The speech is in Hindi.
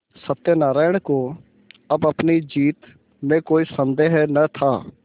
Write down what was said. सत्यनाराण को अब अपनी जीत में कोई सन्देह न था